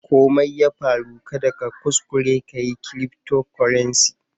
Ko Mai ya farru, kada ka kuskure ka yi cryftocurrency.